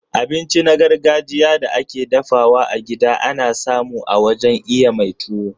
Abinci na gargajiya da ake dafawa a gida ana samu a wajen iya mai tuwo.